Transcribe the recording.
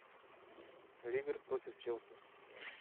ливер против челси